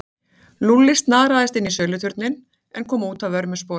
Lúlli snaraðist inn í söluturninn en kom út að vörmu spori.